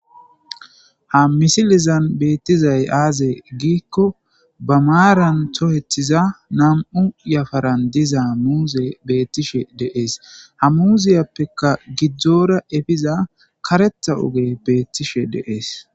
ha misilizan beettizay aaze giikko ba maaran tohethiza nam7u yafaran diza muuze beettishe deees ha muuziyappeka gidzdzoora efiza karetha oge beettishe deees